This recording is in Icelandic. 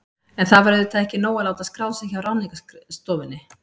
En það var auðvitað ekki nóg að láta skrá sig hjá Ráðningarstofunni.